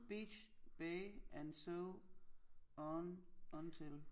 Beach bae and so on until